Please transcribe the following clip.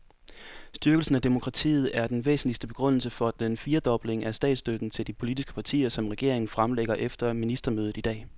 Styrkelse af demokratiet er den væsentligste begrundelse for den firedobling af statsstøtten til de politiske partier, som regeringen fremlægger efter ministermødet i dag.